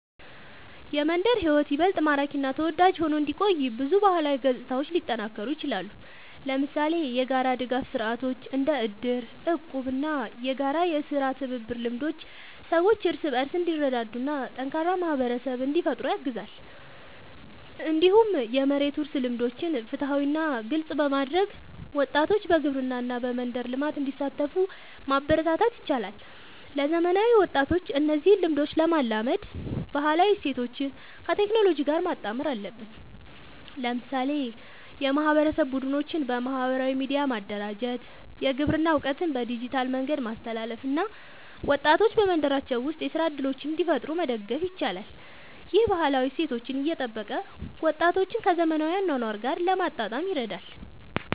የመንደር ሕይወት ይበልጥ ማራኪ እና ተወዳጅ ሆኖ እንዲቆይ ብዙ ባህላዊ ገጽታዎች ሊጠናከሩ ይችላሉ። ለምሳሌ የጋራ ድጋፍ ስርዓቶች እንደ እድር፣ እቁብ እና የጋራ የሥራ ትብብር ልምዶች ሰዎች እርስ በርስ እንዲረዳዱ እና ጠንካራ ማህበረሰብ እንዲፈጠር ያግዛሉ። እንዲሁም የመሬት ውርስ ልምዶችን ፍትሃዊ እና ግልጽ በማድረግ ወጣቶች በግብርና እና በመንደር ልማት እንዲሳተፉ ማበረታታት ይቻላል። ለዘመናዊ ወጣቶች እነዚህን ልምዶች ለማላመድ ባህላዊ እሴቶችን ከቴክኖሎጂ ጋር ማጣመር አለብን። ለምሳሌ የማህበረሰብ ቡድኖችን በማህበራዊ ሚዲያ ማደራጀት፣ የግብርና እውቀትን በዲጂታል መንገድ ማስተላለፍ እና ወጣቶች በመንደራቸው ውስጥ የሥራ እድሎችን እንዲፈጥሩ መደገፍ ይቻላል። ይህ ባህላዊ እሴቶችን እየጠበቀ ወጣቶችን ከዘመናዊ አኗኗር ጋር ለማጣጣም ይረዳል።